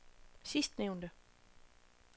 sidstnævnte